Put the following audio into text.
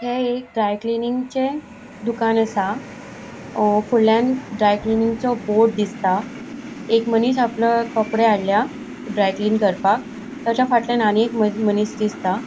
हे एक dry cleaning चे दुकान असा. अ फूडल्यान ड्राय क्लेयनिंगचो बोर्ड दिसता एक मनिस आपले कपड़े हाडल्या ड्राय क्लीन कर्पाक ताज्या फाटल्यान आणि एक मनिस दिसता.